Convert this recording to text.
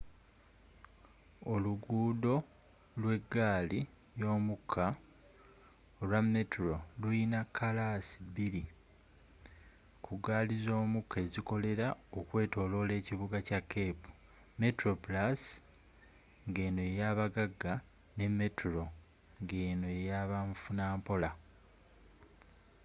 oluguudo lwegaali ymukka olwa metro lulina kkalaasi bbiri ku gaali zomukka ezikolera okwetolola ekibuga kya cape: metroplusngeno yeyabagagga ne metro ng’eno yabamufunampola